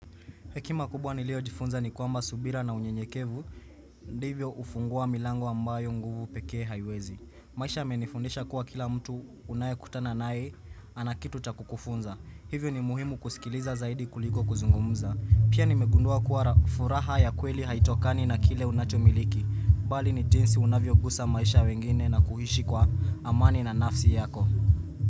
Hekima kubwa niliyojifunza ni kwamba subira na unyenyekevu Ndivyo hufungua milango ambayo nguvu pekee haiwezi. Maisha imenifundisha kuwa kila mtu unayekutana naye ana kitu cha kukufunza. Hivyo ni muhimu kusikiliza zaidi kuliko kuzungumza. Pia nimegundua kuwa furaha ya kweli haitokani na kile unachomiliki, bali ni jinsi unavyogusa maisha ya wengine na kuishi kwa amani na nafsi yako.